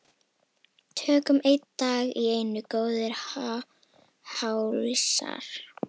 Tökum einn dag í einu góðir hálsar.